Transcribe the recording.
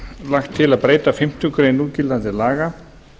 lagt til að breyta fimmtu grein núgildandi laga